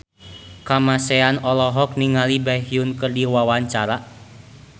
Kamasean olohok ningali Baekhyun keur diwawancara